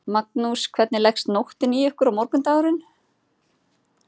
Magnús: Hvernig leggst nóttin í ykkur og morgundagurinn?